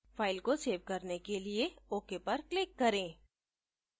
file को save करने के लिए ok पर click करें